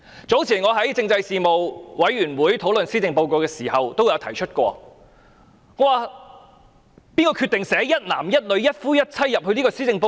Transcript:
早前，我在政制事務委員會會議上討論施政報告時，問道誰人決定將"一男一女、一夫一妻"寫入施政報告？